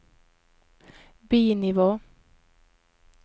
bi-nivå